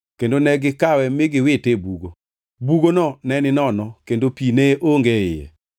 kendo ne gikawe mi giwite e bugo. Bugono ne ninono kendo pi ne onge e iye.